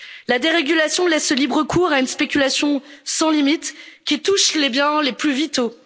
La dérégulation laisse libre cours à une spéculation sans limite qui touche les biens les plus